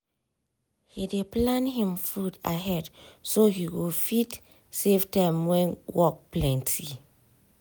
he dey plan him food ahead so he go fit save time when work plenty.